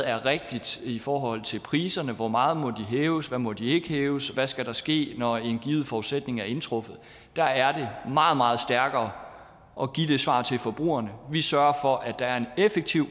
er rigtigt i forhold til priserne hvor meget må de hæves hvad må de ikke hæves hvad skal der ske når en given forudsætning er indtruffet der er det meget meget stærkere at give det svar til forbrugerne vi sørger for at der er en effektiv